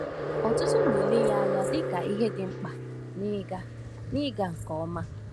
Ọtụtụ na-ele ya anya dịka ihe dị mkpa n’ịga n’ịga nke ọma.